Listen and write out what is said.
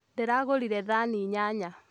Ndĩragũrire thani inyanya